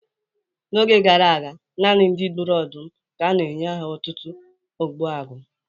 N'oge gara aga, naanị ndị gburu ọdụm ka na-enye aha otutu Ogbuagu.